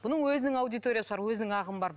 бұның өзінің аудиториясы бар өзінің ағымы бар